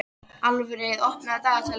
Alfreð, opnaðu dagatalið mitt.